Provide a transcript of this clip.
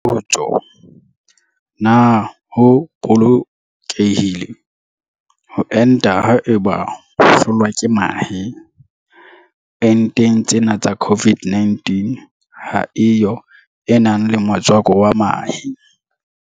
Potso. Na ho bolokehile ho enta haeba o hlolwa ke mahe? Enteng tsena tsa COVID-19 ha e yo e nang le motswako wa mahe.